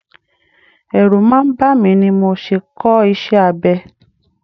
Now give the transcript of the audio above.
Ẹrù máa ń bàmí ni mi ò ṣe kọ́ iṣẹ́ abẹ.